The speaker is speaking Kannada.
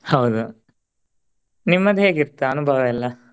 ಹೌದು ನಿಮ್ಮದ್ ಹೇಗೆ ಇತ್ ಅನುಭವ ಎಲ್ಲಾ?